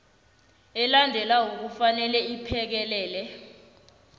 elandelako kufanele iphekelele